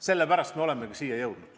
Sellepärast me olemegi siia jõudnud.